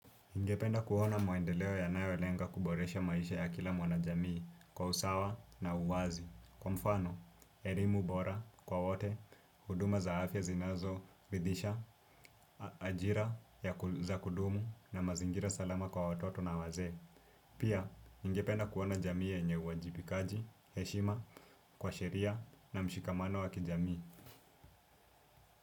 Ningependa kuona maendeleo yanayo lenga kuboresha maisha ya kila mwana jamii, kwa usawa na uwazi. Kwa mfano, erimu bora kwa wote, huduma za afya zinazoridisha, ajira za kudumu na mazingira salama kwa watoto na wazee. Pia, ningependa kuona jamii yanye uajibikaji, heshima, kwa sheria na mshikamano wakijamii.